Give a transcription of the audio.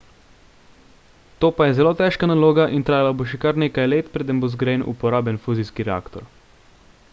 to pa je zelo težka naloga in trajalo bo še kar nekaj let preden bo zgrajen uporaben fuzijski reaktor